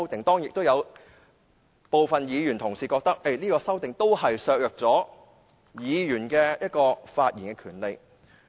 當然，亦有部分議員同事認為這項建議削弱了議員發言的權利。